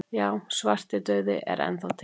Já, svartidauði er enn þá til.